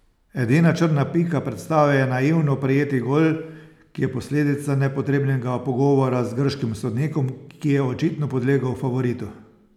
Edina črna pika predstave je naivno prejeti gol, ki je posledica nepotrebnega pogovora z grškim sodnikom, ki je očitno podlegel favoritu.